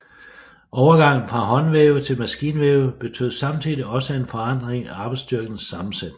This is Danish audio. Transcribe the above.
Overgangen fra håndvæve til maskinvæve betød samtidig også en forandring i arbejdsstyrkens sammensætning